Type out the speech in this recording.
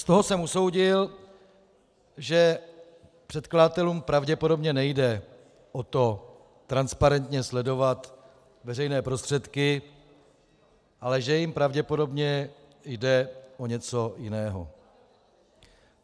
Z toho jsem usoudil, že předkladatelům pravděpodobně nejde o to transparentně sledovat veřejné prostředky, ale že jim pravděpodobně jde o něco jiného.